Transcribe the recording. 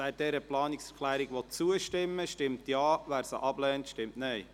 Wer dieser Planungserklärung zustimmen will, stimmt Ja, wer sie ablehnt, stimmt Nein.